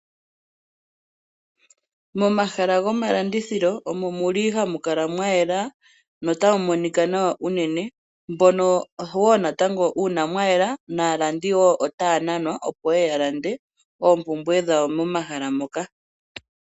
Momahala gomalandithilo omo mu li hamu kala mwa yela notamu monika nawa uunene. Uuna mwa yela naalandi wo otaya nanwa, opo yeye ya lande ompumbwe dhawo momahala moka.